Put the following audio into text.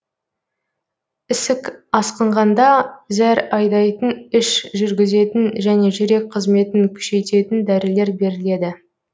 ісік асқынғанда зәр айдайтын іш жүргізетін және жүрек қызметін күшейтетін дәрілер беріледі